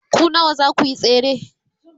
ku nawa zakuyi tsere?